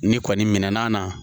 N'i kɔni min'a na